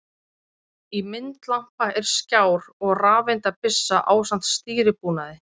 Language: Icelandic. Í myndlampa er skjár og rafeindabyssa ásamt stýribúnaði.